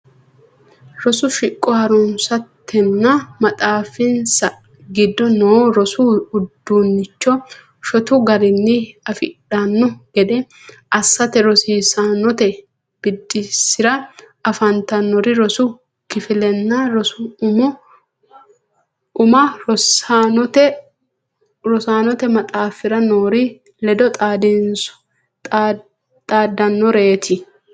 Rosu shiqo ha runsatenna maxaafinsa giddo noo rosu udiinnicho shotu garinni afidhanno gede assate rosiisaanote biddissira afantannori rosu kifillanna rosu umma rosaanote maxaafira noori ledo xaaddannoreeti.